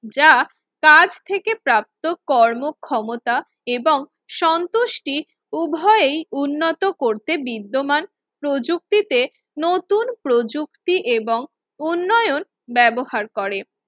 যা কাজ থেকে প্রাপ্ত কর্মক্ষমতা এবং সন্তুষ্টি উভয়েই উন্নত করতে বিদ্যমান প্রযুক্তিতে নতুন প্রযুক্তি এবং উন্নয়ন ব্যবহার করে।